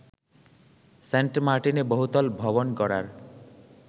সেন্টমার্টিনে বহুতল ভবন গড়ার